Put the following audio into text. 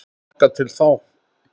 Þangað til þá.